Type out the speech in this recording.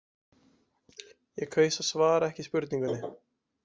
Ég kaus að svara ekki spurningunni.